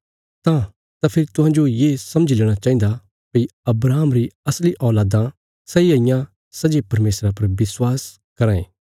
तां फेरी तुहें ये समझी लेणा चाहिन्दा भई अब्राहम री असली औलादां सैई हाईयां सै जे परमेशरा पर विश्वास कराँ ये